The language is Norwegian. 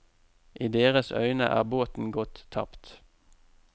I deres øyne er båten gått tapt.